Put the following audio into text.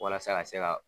Walasa ka se ka